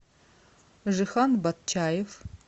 жихан батчаев